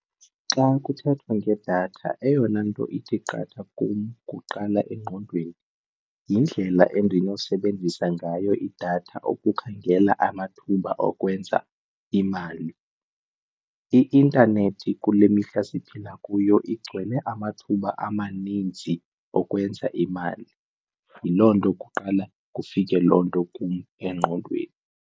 Xa kuthethwa ngedatha eyona nto ithi qatha kum kuqala engqondweni yindlela endinosebenzisa ngayo idatha ukukhangela amathuba okwenza imali. I-intanethi kule mihla siphila kuyo igcwele amathuba amaninzi okwenza imali yiloo nto kuqala kufike loo nto kum engqondweni.